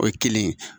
O ye kelen ye